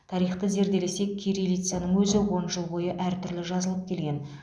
тарихты зерделесек кириллицаның өзі он жыл бойы әртүрлі жазылып келген